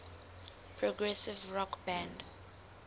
progressive rock band